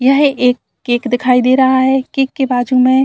यह एक केक दिखाई दे रहा है केक के बाजू में --